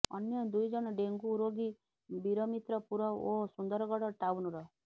ଅନ୍ୟ ଦୁଇ ଜଣ ଡେଙ୍ଗୁ ରୋଗୀ ବିରମିତ୍ରପୁର ଓ ସୁନ୍ଦରଗଡ ଟାଉନର